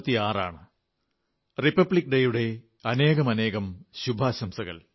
republic day എന്നറിയപ്പെടുന്ന ഗണതന്ത്രദിവസത്തിന്റെ അനേകം അനേകം ശുഭാശംസകൾ